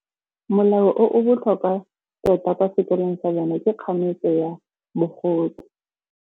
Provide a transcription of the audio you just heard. Molao o o botlhokwa tota kwa sekolong sa bone ke kganetsô ya bogodu.